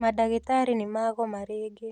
Mandagĩtarĩ nĩmagoma rĩngĩ